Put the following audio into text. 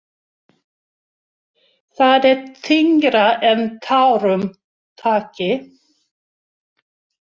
Það er þyngra en tárum taki.